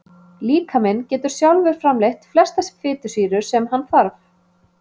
Líkaminn getur sjálfur framleitt flestar fitusýrur sem hann þarf.